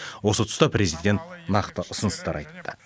осы тұста президент нақты ұсыныстар айтты